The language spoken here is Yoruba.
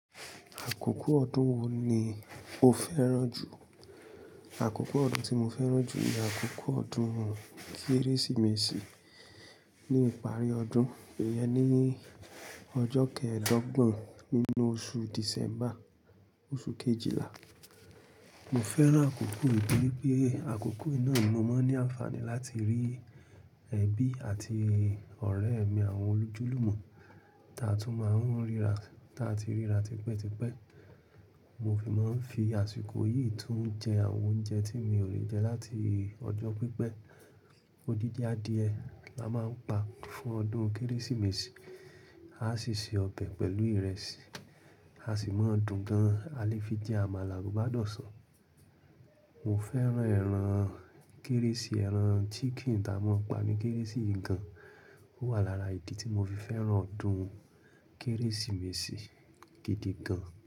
Àkókò ọdún wo ni o fẹ́ràn jù? Àkókò ọdún tí mo fẹ́ràn jù ni àkókò ọdún Kérésìmesì ní ìparí ọdún, iyẹn nií ọjọ́ kẹẹ̀dọ́gbọ̀n nínú oṣù Dìsẹ́mbà, oṣù Kejìlá. Mo fẹ́ràn àkókò yìí nítorí pé àkókò yìí ni mo máa ń ní àǹfààní láti rí ẹbí àti ọ̀rẹ́ mi àwọn olùjúlùmọ̀ taa tún máa ń ríra tipẹ́tipẹ́. Mo fi máa ń fi àsìkò yìí tún jẹ àwọn oúnjẹ tí mi ò lè jẹ láti ọjọ́ pípẹ́. Odidi adie la máa ń pa fún ọdún Kérésìmesì. A sì se ọbẹ̀ pẹ̀lú ìrẹsì, a sì máa dùn gan-an. A lè fi jẹ amala, gbádọsọ. Mo fẹ́ràn ẹran Kérésì, ẹran chicken ta a máa ń pa ní Kérésì gan-an. Ó wà lára ìdí tí mo fi fẹ́ràn ọdún Kérésìmesì gidi gan-an.